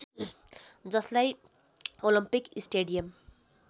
जसलाई Olympic stadium